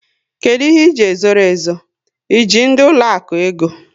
Kedụ ihe iji e zoro ezo? E ji ndị ụlọaku ego?